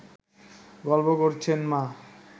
গল্প করছেন মা